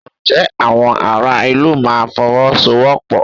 Ǹjẹ́ àwọn ará ìlú máa Fọwọ́sowọ́pọ̀?